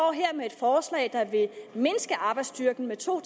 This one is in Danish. med et forslag der vil mindske arbejdsstyrken med to